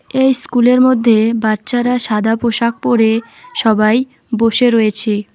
এই স্কুলের মধ্যে বাচ্চারা সাদা পোশাক পরে সবাই বসে রয়েছে।